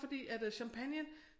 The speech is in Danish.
Fordi at øh champagnen